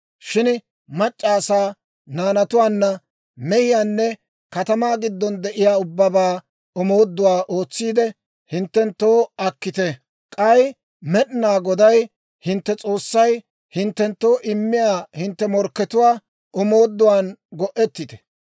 Shin mac'c'a asaa, naanatuwaa, mehiyaanne katamaa giddon de'iyaa ubbabaa omooduwaa ootsiide hinttenttoo akkite. K'ay Med'inaa Goday hintte S'oossay hinttenttoo immiyaa hintte morkkatuwaa omooduwaan go'ettite.